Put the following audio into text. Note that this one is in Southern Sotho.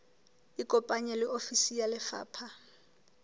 ikopanye le ofisi ya lefapha